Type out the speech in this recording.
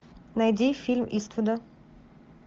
найди фильм иствуда